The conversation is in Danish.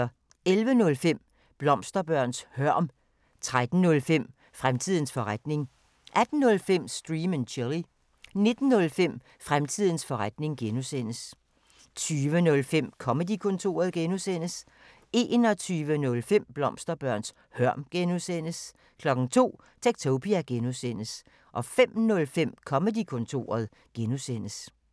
11:05: Blomsterbørns hørm 13:05: Fremtidens forretning 18:05: Stream & Chill 19:05: Fremtidens forretning (G) 20:05: Comedy-kontoret (G) 21:05: Blomsterbørns hørm (G) 02:00: Techtopia (G) 05:05: Comedy-kontoret (G)